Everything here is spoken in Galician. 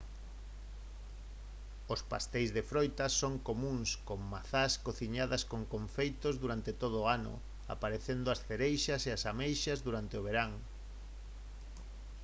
os pasteis de froitas son comúns con mazás cociñadas nos confeitos durante todo o ano aparecendo as cereixas e as ameixas durante o verán